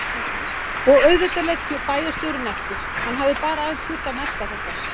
Og auðvitað lét bæjarstjórinn eftir, hann hafði bara aðeins þurft að melta þetta.